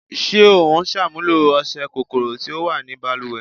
Ṣé o ń ṣàmúlò ọṣẹ́ kòkòrò tí ó wà ni baluwẹ̀?